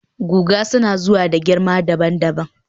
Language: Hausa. guga suna zuwa da girma dabam